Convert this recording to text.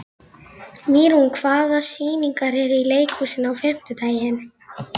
Mýrún, hvaða sýningar eru í leikhúsinu á fimmtudaginn?